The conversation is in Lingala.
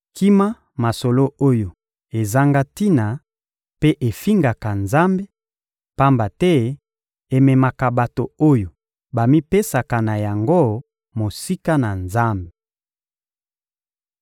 Kima masolo oyo ezanga tina mpe efingaka Nzambe, pamba te ememaka bato oyo bamipesaka na yango mosika na Nzambe.